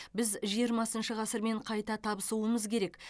біз жиырмасыншы ғасырмен қайта табысуымыз керек